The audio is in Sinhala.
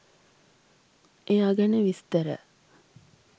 එයා ගැන විස්තර